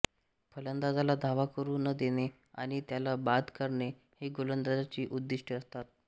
फलंदाजाला धावा करू न देणे आणि त्याला बाद करणे ही गोलंदाजाची उद्दिष्ट्ये असतात